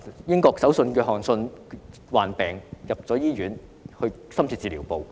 英國首相約翰遜患病進入醫院的深切治療部。